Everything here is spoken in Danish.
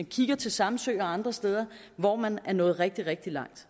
kigger til samsø og andre steder hvor man er nået rigtig rigtig langt